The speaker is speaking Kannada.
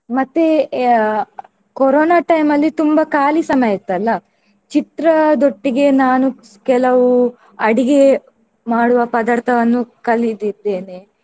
ಮತ್ತೆ ಅಹ್ ಕೊರೊನಾ time ಅಲ್ಲಿ ತುಂಬಾ ಖಾಲಿ ಸಮಯ ಇತ್ತಲ್ಲ. ಚಿತ್ರದೊಟ್ಟಿಗೆ ನಾನು ಕೆಲವು ಅಡಿಗೆ ಮಾಡುವ ಪದಾರ್ಥವನ್ನು ಕಲಿದಿದ್ದೇನೆ.